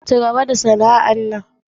Cigaba da sana'an.